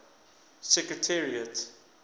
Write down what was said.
secretariat